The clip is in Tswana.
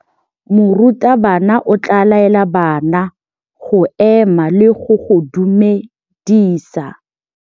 Morutabana o tla laela bana go ema le go go dumedisa.